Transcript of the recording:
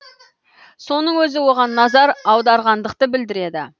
соның өзі оған назар аударғандықты білдіреді